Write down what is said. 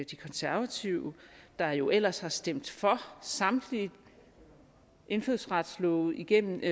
de konservative der jo ellers har stemt for samtlige indfødsretslove igennem